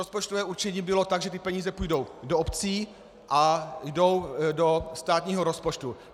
Rozpočtové určení bylo tak, že ty peníze půjdou do obcí a jdou do státního rozpočtu.